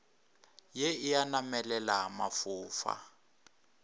ye e a namelela mafofa